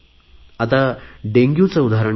आता डेंग्युचे उदाहरण घेऊ